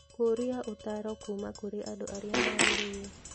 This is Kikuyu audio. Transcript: Kũũria ũtaaro kũũma kũrĩ andũ arĩa magĩrĩire.